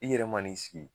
I yɛrɛ man'i sigi